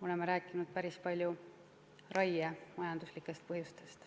oleme rääkinud päris palju raie majanduslikest põhjustest.